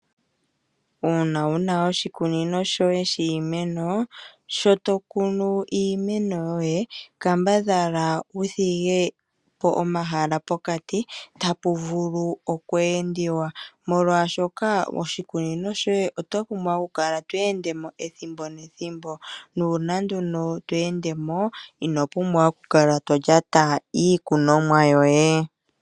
Uuna wuna oshikunino shoye shiimeno, sho tokunu iimeno yoye kambadhala wudhige po omahala pokati tapu vulu okweendiwa molwaashoka ishikunino shoye oto pumbwa okukala tweende mo ethimbo nethimbo, nuuna nduno tweendemo ino pumbwa okukala tolyata iikunomwa yoye.